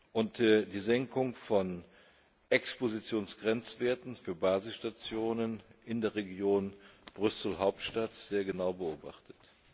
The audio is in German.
und die Senkung von Expositionsgrenzwerten für Basisstationen in der Region Brüssel Hauptstadt sehr genau beobachtet.